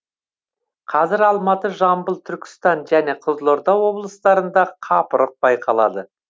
қазір алматы жамбыл түркістан және қызылорда облыстарында қапырық байқалады